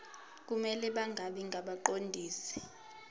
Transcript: kumele bangabi ngabaqondisi